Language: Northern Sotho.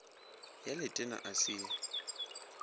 ya letena a se ye